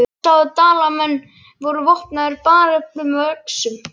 Hann sá að Dalamenn voru vopnaðir bareflum og öxum.